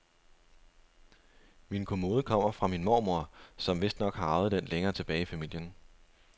Min kommode kommer fra min mormor, som vistnok har arvet den længere tilbage i familien.